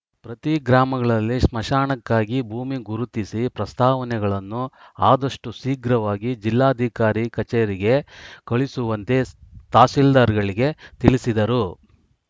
ಪ್ರತಿ ಗ್ರಾಮಗಳಲ್ಲಿ ಸ್ಮಶಾನಕ್ಕಾಗಿ ಭೂಮಿ ಗುರುತಿಸಿ ಪ್ರಸ್ತಾವನೆಗಳನ್ನು ಆದಷ್ಟುಶೀಗ್ರವಾಗಿ ಜಿಲ್ಲಾಧಿಕಾರಿ ಕಚೇರಿಗೆ ಕಳುಹಿಸುವಂತೆ ತಹಸೀಲ್ದಾರ್‌ಗಳಿಗೆ ತಿಳಿಸಿದರು